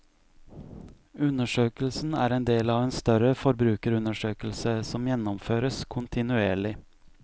Undersøkelsen er en del av en større forbrukerundersøkelse, som gjennomføres kontinuerlig.